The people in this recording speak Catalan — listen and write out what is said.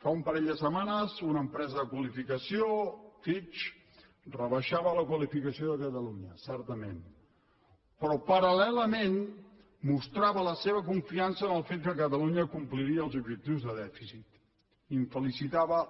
fa un parell de setmanes una empresa de qualificació fitch rebaixava la qualificació de catalunya certament però paral·lelament mostrava la seva confiança en el fet que catalunya compliria els objectius de dèficit i felicitava